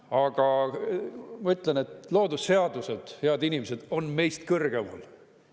Aga ma ütlen, et loodusseadused, head inimesed, on meist kõrgemal.